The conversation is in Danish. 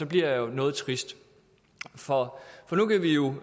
bliver jeg jo noget trist for nu kan vi jo